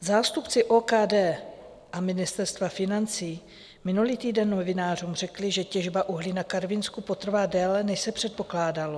Zástupci OKD a Ministerstva financí minulý týden novinářům řekli, že těžba uhlí na Karvinsku potrvá déle, než se předpokládalo.